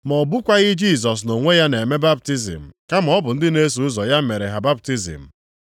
Ma ọ bụkwaghị Jisọs na onwe ya na-eme baptizim kama ọ bụ ndị na-eso ụzọ ya mere ha baptizim.